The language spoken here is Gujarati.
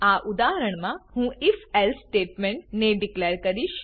આ ઉદાહરણમા હું if એલ્સે સ્ટેટમેન્ટ ને ડીકલેર કરીશ